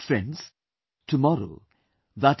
Friends, tomorrow i